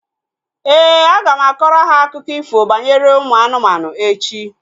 Éè, aga m akọrọ ha akụkọ ifo banyere ụmụ anụmanụ echi